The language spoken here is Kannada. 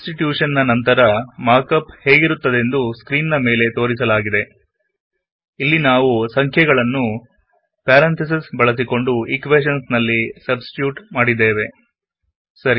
ಸಬ್ಸ್ ಟಿಟ್ಯುಶನ್ ನ ನಂತರ ಮಾರ್ಕಪ್ ಹೇಗಿರುತ್ತದೆಂದು ಸ್ಕ್ರೀನ್ ನ ಮೇಲೆ ತೋರಿಸಲಾಗಿದೆ ಇಲ್ಲಿ ನಾವು ಸಂಖ್ಯೆಗಳನ್ನು ಪ್ಯಾರೆಂತೆಸಿಸ್ ಬಳಸಿಕೊಂಡು ಈಕ್ವೇಶನ್ಸ್ ನಲ್ಲಿ ಸಬ್ಸ್ ಟಿಟ್ಯೂಟ್ ಮಾಡಲಾಗಿದೆ